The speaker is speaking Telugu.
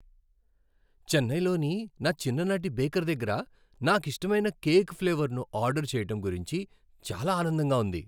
చెన్నైలోని నా చిన్ననాటి బేకర్ దగ్గర నాకిష్టమైన కేక్ ఫ్లేవర్ను ఆర్డర్ చేయటం గురించి చాలా ఆనందంగా ఉంది.